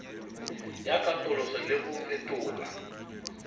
ya katoloso le go fetola